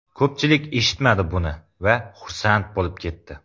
Ko‘pchilik eshitmadi buni va xursand bo‘lib ketdi.